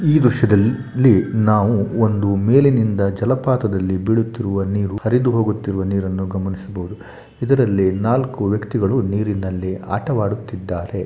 ಈ ದೃಶ್ಯದಲ್ಲಿ ನಾವು ಒಂದು ಮೇಲಿನಿಂದ ಜಲಪಾತದಲ್ಲಿ ಬೀಳುತ್ತಿರುವ ನೀರು ಹರಿದು ಹೋಗುತ್ತಿರುವ ನೀರನ್ನು ಗಮನಿಸಬಹುದು ಇದ್ರಲ್ಲಿ ನಾಲ್ಕು ವ್ಯಕ್ತಿಗಳು ನೀರಿನಲ್ಲಿ ಆಟವಾಡುತ್ತಿದ್ದಾರೆ.